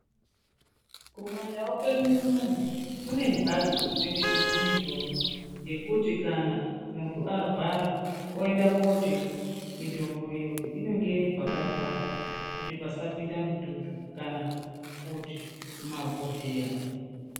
Kumandau kwedu unono kune mhatso dzinotengeserwa mitombo yekuti kana muntu arwara oenda kotenga mitombo iyoyo. Inenge iri pakavharwa kuti pasapinde mututu kana kuti mabhodhleya.